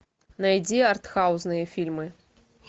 найди арт хаусные фильмы